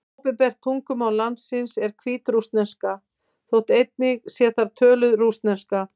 Opinbert tungumál landsins er hvítrússneska, þótt einnig sé þar töluð rússneska.